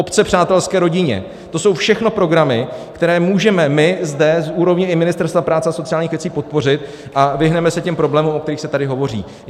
Obce přátelské rodině, to jsou všechno programy, které můžeme my zde z úrovně i Ministerstva práce a sociálních věcí podpořit, a vyhneme se těm problémům, o kterých se tady hovoří.